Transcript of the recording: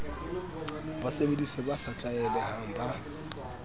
basebedise ba sa tlaelehang ba